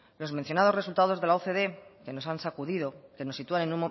los mencionados resultados de la ocde que nos han sacudido que nos sitúan